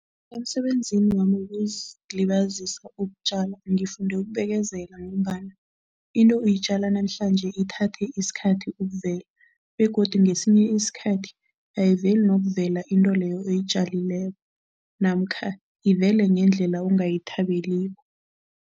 Emsebenzini wami wokuzilibazisa ukutjala, ngifunde ukubekezela ngombana into uyitjala namhlanje ithathe isikhathi ukuvela begodu ngesinye isikhathi ayiveli nokuvela into leyo oyitjalileko namkha ivele ngendlela ongayithabeliko.